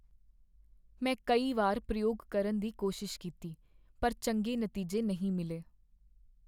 ਮੈਂ ਕਈ ਵਾਰ ਪ੍ਰਯੋਗ ਕਰਨ ਦੀ ਕੋਸ਼ਿਸ਼ ਕੀਤੀ ਪਰ ਚੰਗੇ ਨਤੀਜੇ ਨਹੀਂ ਮਿਲੇ।